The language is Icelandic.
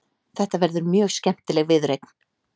Þetta verður mjög skemmtileg viðureign.